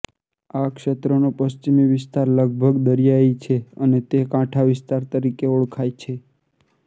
આ ક્ષેત્રનો પશ્ચિમી વિસ્તાર લગભગ દરિયાઇ છે અને તે કાંઠા વિસ્તાર તરીકે ઓળખાય છે